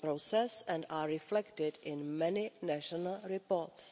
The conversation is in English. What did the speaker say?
process and are reflected in many national reports.